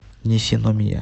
нисиномия